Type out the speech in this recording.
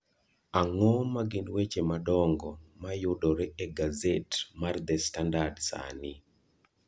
Ang’o ma gin weche madongo ma yudore e gaset mar The Standard sani?